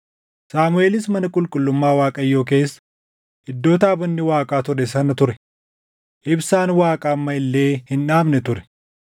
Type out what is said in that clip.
Saamuʼeelis mana qulqullummaa Waaqayyoo keessa iddoo taabonni Waaqaa ture sana ture; ibsaan Waaqaa amma illee hin dhaamne ture.